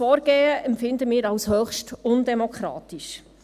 Wir empfinden dieses Vorgehen als höchst undemokratisch.